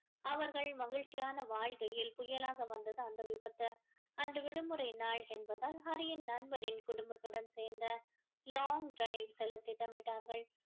அவர்கள் மகிழ்ச்சியான வாழ்க்கையில் புயலாக வந்தது அந்த விபத்து அன்று விடுமுறை நாள் என்பதால் ஹரியின் நண்பனின் குடும்பத்துடன் சேர்ந்து long drive செல்ல திட்டமிட்டார்கள்